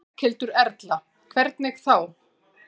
Berghildur Erla: Hvernig þá?